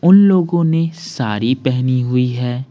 उन लोगों ने साड़ी पहनी हुई है।